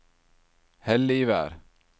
Helligvær